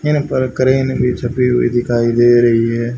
इन पर क्रेन भी छपी हुई दिखाई दे रही है।